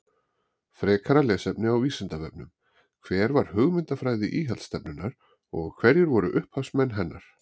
Frekara lesefni á Vísindavefnum: Hver var hugmyndafræði íhaldsstefnunnar og hverjir voru upphafsmenn hennar?